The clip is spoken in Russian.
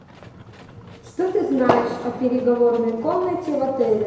что ты знаешь о переговорной комнате в отеле